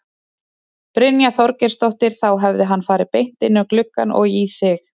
Brynja Þorgeirsdóttir: Þá hefði hann farið beint inn um gluggann og í þig?